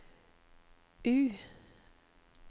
U